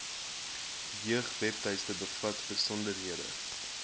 jeugwebtuiste bevat besonderhede